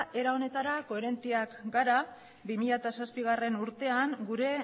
era honetara koherenteak gara bi mila zazpigarrena urtean gure